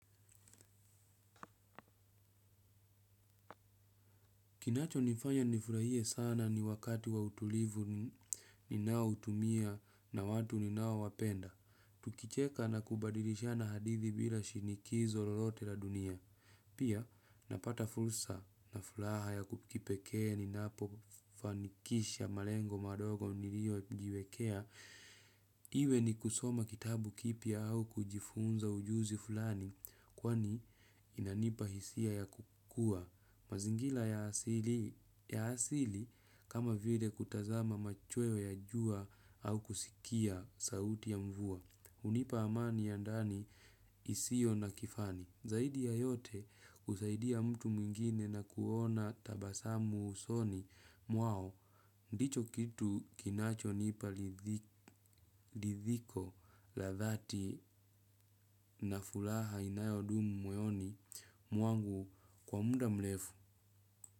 Kinachonifanya nifurahie sana ni wakati wa utulivu ninaotumia na watu ninaowapenda. Tukicheka na kubadilishana hadithi bila shinikizo lolote la dunia. Pia napata fursa na furaha ya kipekee ninapofanikisha malengo madogo niliyojiwekea. Iwe ni kusoma kitabu kipya au kujifunza ujuzi fulani, kwani inanipa hisia ya kukua. Mazingira ya asili kama vile kutazama machweo ya jua au kusikia sauti ya mvua. Hunipa amani ya ndani isiyo na kifani. Zaidi ya yote kusaidia mtu mwingine na kuona tabasamu usoni mwao. Ndicho kitu kinachonipa ridhiko la dhati na furaha inayodumu moyoni mwangu kwa muda mrefu.